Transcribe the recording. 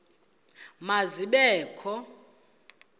ma zibe kho